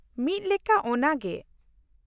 -ᱢᱤᱫ ᱞᱮᱠᱟ ᱚᱱᱟᱜᱮ ᱾